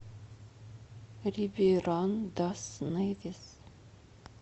рибейран дас невис